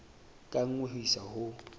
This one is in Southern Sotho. ka nngwe ho isa ho